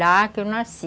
Lá que eu nasci.